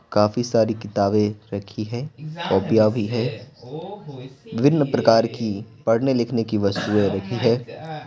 काफी सारी किताबें रखी हैं कॉपिया भी है विभिन्न प्रकार की पढ़ने लिखने की वस्तुएं रखी है।